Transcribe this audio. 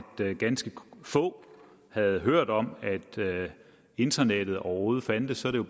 ganske få havde hørt om at internettet overhovedet fandtes er